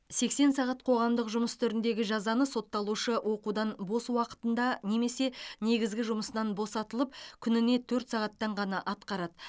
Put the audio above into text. сексен сағат қоғамдық жұмыс түріндегі жазаны сотталушы оқудан бос уақытында немесе негізгі жұмысынан босатылып күніне төрт сағаттан ғана атқарады